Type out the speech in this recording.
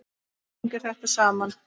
Allt hangir þetta saman.